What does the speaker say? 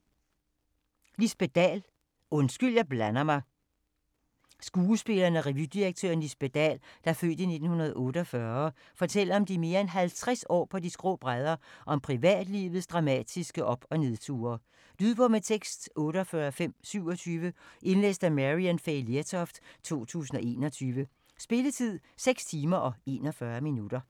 Dahl, Lisbet: Undskyld, jeg blander mig Skuespilleren og revydirektøren Lisbet Dahl (f. 1946) fortæller om de mere end 50 år på de skrå brædder, og om privatlivets dramatiske op- og nedture. Lydbog med tekst 48527 Indlæst af Maryann Fay Lertoft, 2021. Spilletid: 6 timer, 41 minutter.